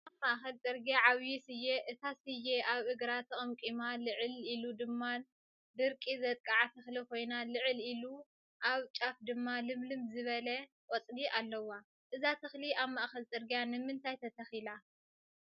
ኣብ ማእከል ፅርግያ ዓበይ ስየ እታ ስየ ኣብ እግራ ተቀምቂማ ልዕል ኢሉ ድማ ድርቂ ዘጥቅዓ ተክሊ ኮይና ልዕል ኢሉ ኣብ ፃፍ ድማ ልምልም ዝበላ ቆፅሊ ኣለዋ፡፡ እዛ ተክሊ ኣብ ማእከል ፅርግያ ንምንታይ ተተኪላ?